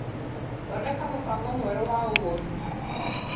Thondeka mũbango mwerũ wa ũgũri .